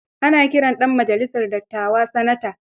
Ana kiran ɗan majalisar dattawa sanata.